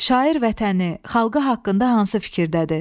Şair vətəni, xalqı haqqında hansı fikirdədir?